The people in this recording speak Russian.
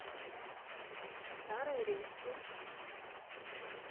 старой руссы